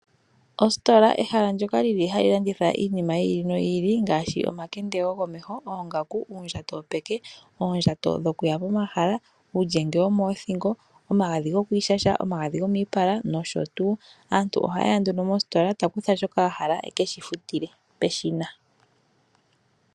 Ositola, ehala ndyoka lili hali landithwa iinima yi ili noyi ili ngaashi, omakende gokomeho, oongaku, uundjato wopeke, oondjato dhokuya pomahala, uulyenge womoothingo, omagadhi gokwiishasha, omagadhi gomiipala nosho tuu. Aantu ohayeya nduno moositola ta kutha shoka ahala e ke shi futile peshina.